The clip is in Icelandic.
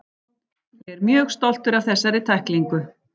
Ég er mjög stoltur af þessari tæklingu.